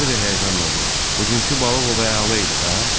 Harvi həyəcanla dedi: Bugunku balıq ovu əla idi, hə?